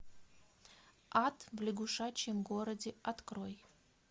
ад в лягушачьем городе открой